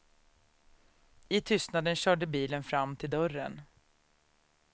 I tystnaden körde bilen fram till dörren.